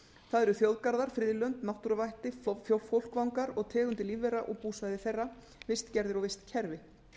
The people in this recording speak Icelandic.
það eru þjóðgarðar friðlönd náttúruvætti fólkvangar og tegundir lífvera og búsvæði þeirra vistgerðir og vistkerfi